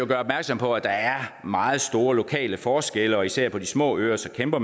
gøre opmærksom på at der er meget store lokale forskelle og især på de små øer kæmper